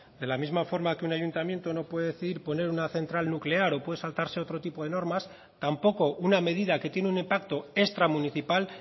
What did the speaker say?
de la misma forma que un ayuntamiento no puede decidir poner una central nuclear o puede saltarse otro tipo de normas tampoco una medida que tiene un impacto extramunicipal